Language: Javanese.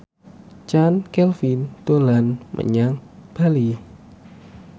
Chand Kelvin dolan menyang Bali